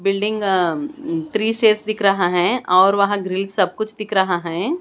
Building uh um three stairs दिख रहा है और वहाँ ग्रिल सब कुछ दिख रहा है।